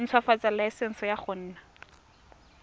ntshwafatsa laesense ya go nna